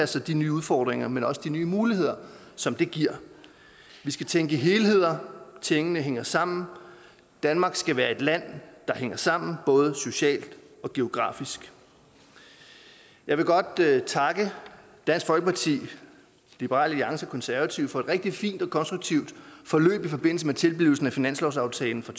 sig de nye udfordringer men også de nye muligheder som det giver vi skal tænke i helheder tingene hænger sammen danmark skal være et land der hænger sammen både socialt og geografisk jeg vil godt takke dansk folkeparti liberal alliance konservative for et rigtig fint og konstruktivt forløb i forbindelse med tilblivelsen af finanslovsaftalen for